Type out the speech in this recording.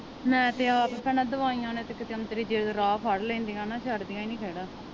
ਮੈ ਤੇ ਆਪ ਭੈਣਾਂ ਦਵਾਈਆਂ ਨੇ ਤਾ ਕਿਤੇ ਔਂਤਰੀ ਜੇ ਤੇ ਰਾਹ ਫੜ ਲੈਂਦੀਆਂ ਨਾ ਛੱਡ ਦੀਆ ਨਹੀਂ ਖਹਿਰਾ।